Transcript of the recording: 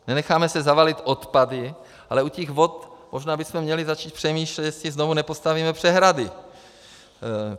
Nenecháme se zavalit odpady, ale u těch vod možná bychom měli začít přemýšlet, jestli znovu nepostavíme přehrady.